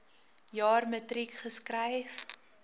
jaar matriek geskryf